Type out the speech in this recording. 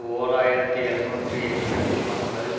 ஓர் ஆயிரத்தி எழுநூற்றி எண்பத்தி ஒன்பதில்